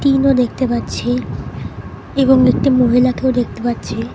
ইনো দেখতে পাচ্ছি এবং একটি মহিলাকেও দেখতে পাচ্ছি।